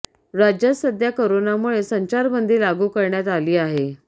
राज्यात सध्या कोरोनामुळे संचार बंदी लागू करण्यात आली आहे